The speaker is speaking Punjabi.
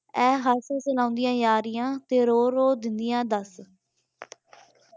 ਏ ਹਾਸੇ ਸੁਣਾਉਂਦੀਆਂ ਯਾਰੀਆਂ ਤੇ ਰੋ ਰੋ ਦੇਂਦੀਆਂ ਦੱਸ